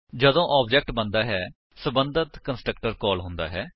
ਜਦੋਂ ਆਬਜੇਕਟ ਬਣਦਾ ਹੈ ਸਬੰਧਤ ਕੰਸਟਰਕਟਰ ਕਾਲ ਹੁੰਦਾ ਹੈ